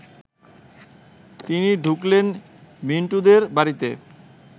তিনি ঢুকলেন মিন্টুদের বাড়িতে